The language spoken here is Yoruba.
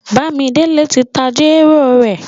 Bàmídélé tí n ta jèrò rẹ̀.